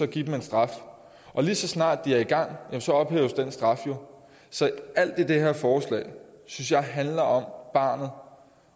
give dem en straf lige så snart de er i gang ophæves den straf jo så alt i det her forslag synes jeg handler om barnet